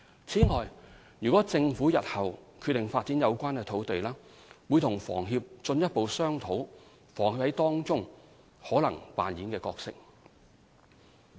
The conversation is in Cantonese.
此外，如政府日後決定發展有關土地，會與房協進一步商討房協在當中可能扮演的角色。